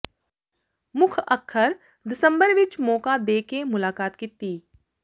ਮੁੱਖ ਅੱਖਰ ਦਸੰਬਰ ਵਿਚ ਮੌਕਾ ਦੇ ਕੇ ਮੁਲਾਕਾਤ ਕੀਤੀ